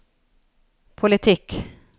politikk